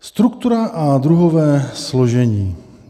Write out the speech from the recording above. "Struktura a druhové složení.